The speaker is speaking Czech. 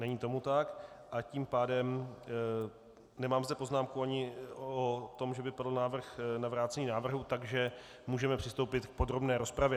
Není tomu tak, a tím pádem - nemám zde poznámku ani o tom, že by padl návrh na vrácení návrhu, takže můžeme přistoupit k podrobné rozpravě.